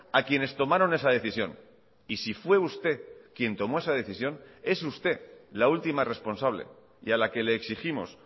a quienes tomaron esa decisión y si fue usted quien tomó esa decisión es usted la última responsable y a la que le exigimos